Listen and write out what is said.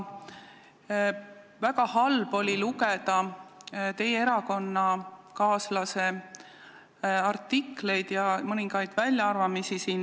Väga halb on olnud lugeda teie erakonnakaaslaste artikleid ja mõningaid väljaütlemisi.